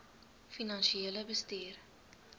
finansiële bestuur